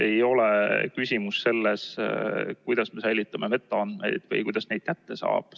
Ei ole küsimus selles, kuidas me säilitame metaandmeid või kuidas neid kätte saab.